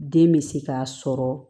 Den bɛ se k'a sɔrɔ